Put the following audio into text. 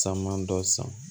Caman dɔ san